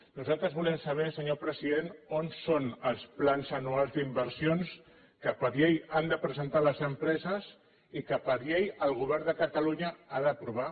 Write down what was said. nosaltres volem saber senyor president on són els plans anuals d’inversions que per llei han de presentar les empreses i que per llei el govern de catalunya ha d’aprovar